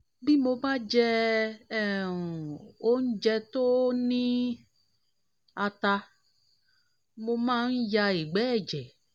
bí mo bá jẹ um oúnjẹ tó ní oúnjẹ tó ní ata mo máa ń um ya ìgbẹ́ ẹ̀jẹ̀